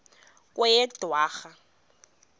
kweyedwarha